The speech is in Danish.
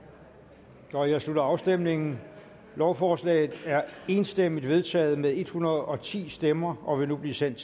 der jeg slutter afstemningen lovforslaget er enstemmigt vedtaget med en hundrede og ti stemmer og vil nu blive sendt